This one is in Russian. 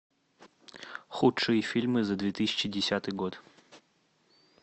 худшие фильмы за две тысячи десятый год